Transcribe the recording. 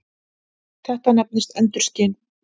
Þetta nefnist endurskin.